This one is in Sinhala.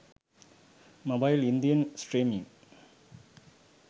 mobile indian streaming